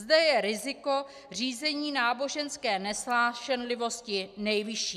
Zde je riziko řízení náboženské nesnášenlivosti nejvyšší.